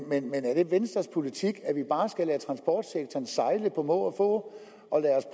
men er det venstres politik at vi bare skal lade transportsektoren sejle på må få og lade